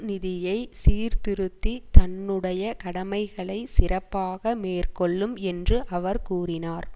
நிதியை சீர்திருத்தி தன்னுடைய கடமைகளை சிறப்பாக மேற்கொள்ளும் என்று அவர் கூறினார்